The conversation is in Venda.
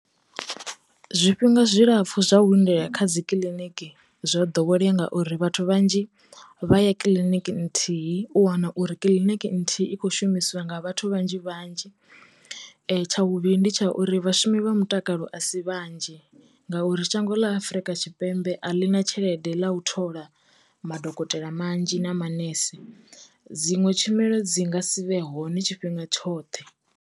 Zwi fhinga zwi lapfhu zwa u lindela kha dzi kiḽiniki zwo ḓowelea ngauri vhathu vhanzhi vha ya kiḽiniki nthihi u wana uri kiliniki nthihi i kho shumisiwa nga vhathu vhanzhi vhanzhi, tsha vhuvhili ndi tsha uri vhashumi vha mutakalo a si vhanzhi ngauri shango ḽa Afrika Tshipembe a ḽi na tshelede ḽa u thola madokotela manzhi na manese. Dziṅwe tshumelo dzi nga si vhe hone tshifhinga tshoṱhe.